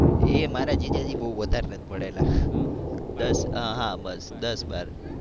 એ મારા જીજાજી બહુ વધારે નથી ભણેલા. દસ હા બસ દસ બાર.